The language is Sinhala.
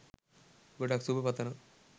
ගොඩක් සුබ පතනවා